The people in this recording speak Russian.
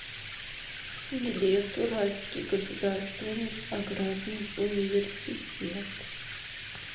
билет уральский государственный аграрный университет